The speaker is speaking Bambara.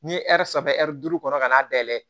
N'i ye saba duuru kɔnɔ ka n'a dayɛlɛ